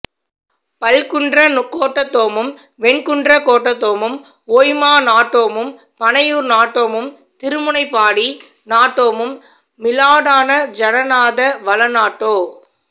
பல்குன்றக் கோட்டத்தோமும் வெண்குன்றக் கோட்டத்தோமும் ஒய்மா நாட்டோமும் பனையூர் நாட்டோமும் திருமுனைப்பாடி நாட்டோமும் மிலாடான ஜனநாத வளநாட்டோ